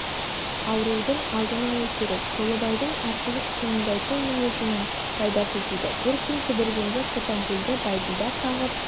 аурудың алдын алу керек толыбайдың асығыс қимылдайтын мінезінің пайдасы тиді бір күн кідіргенде қотанкөлді бәйділда кағып